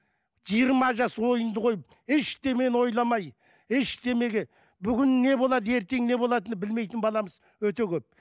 жиырма жас ойынды қойып ештемені ойламай ештемеге бүгін не болады ертең не болатыны білмейтін баламыз өте көп